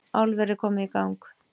Álverið komið í gang